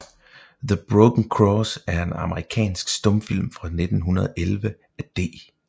The Broken Cross er en amerikansk stumfilm fra 1911 af D